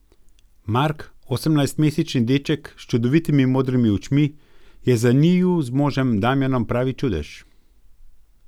Mark, osemnajstmesečni deček s čudovitimi modrimi očmi, je za njiju z možem Damjanom pravi čudež.